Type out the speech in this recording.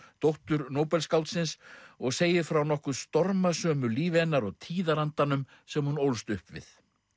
dóttur Nóbelsskáldsins og segir frá nokkuð stormasömu lífi hennar og tíðarandanum sem hún ólst upp við